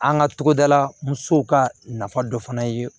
An ka togodala musow ka nafa dɔ fana ye